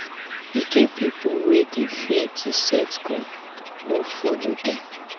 e get pipo wey dey fear to set goal no folo dem.